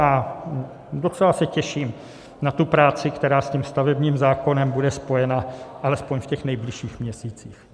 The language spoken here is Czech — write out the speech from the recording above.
A docela se těším na tu práci, která s tím stavebním zákonem bude spojena alespoň v těch nejbližších měsících.